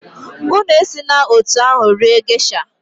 Unu esila etu ahụ rie gesha!